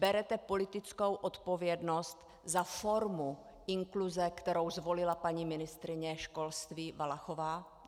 Berete politickou odpovědnost za formu inkluze, kterou zvolila paní ministryně školství Valachová?